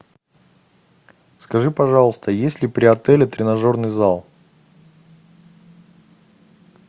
скажи пожалуйста есть ли при отеле тренажерный зал